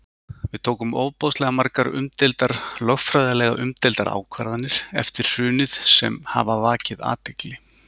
Við tókum ofboðslega margar umdeildar, lögfræðilega umdeildar ákvarðanir eftir hrunið sem hafa vakið athygli?